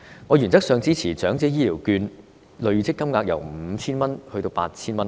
我原則上支持長者醫療券累積金額由 5,000 元增至 8,000 元。